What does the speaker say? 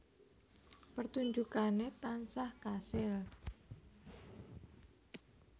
Pertunjukane tansah kasil